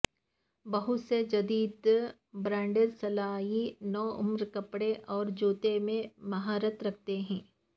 بہت سے جدید برانڈز سلائی نوعمر کپڑے اور جوتے میں مہارت رکھتے ہیں